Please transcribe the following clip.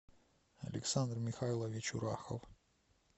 александр михайлович урахов